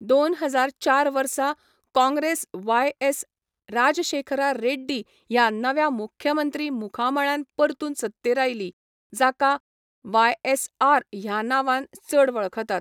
दोन हजार चार वर्सा काँग्रेस वायएस राजशेखरा रेड्डी ह्या नव्या मुख्यमंत्री मुखामळान परतून सत्तेर आयली, जाका वायएसआर ह्या नांवान चड वळखतात.